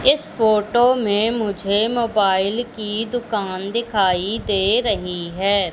इस फोटो में मुझे मोबाइल की दुकान दिखाई दे रही है।